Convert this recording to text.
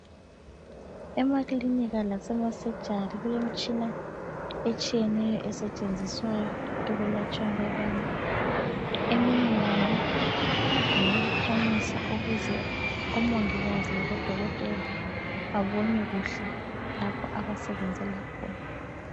Emakilinika lasema surgery kulemitshina etshiyeneyo esetshenziswayo ekulatshweni kwabantu. Eminye yayo ngeyokukhanyisa ukuze omongikazi labodokotela babone kuhle lapho abasebenzela khona.